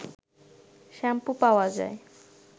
shampoo পাওয়া যায়